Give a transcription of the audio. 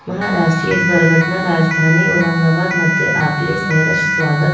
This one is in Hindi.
महाराष्ट्री दुर्घटना राजधानी औरंगाबाद मध्य आक्लिस स्वरस स्वागत --